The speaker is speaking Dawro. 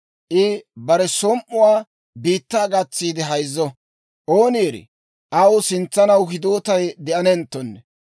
I bare som"uwaa biittaa gatsiide hayzzo. Ooni erii, aw sintsanaw hidootay de'anenttonne.